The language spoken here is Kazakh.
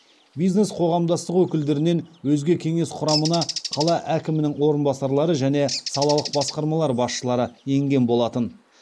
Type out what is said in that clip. бизнес қоғамдастық өкілдерінен өзге кеңес құрамына қала әкімінің орынбасарлары және салалық басқармалар басшылары енген болатын